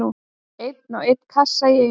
Einn og einn kassa í einu.